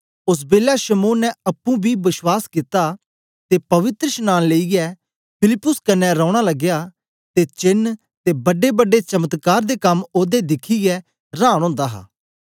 ओस बेलै शमौन ने अप्पुं बी बश्वास कित्ता ते पवित्रशनांन लेईयै फिलिप्पुस कन्ने रौना लगया ते चेन्न ते बड्डेबड्डे चमत्कार दे कम ओदे दिखियै रांन ओंदा हा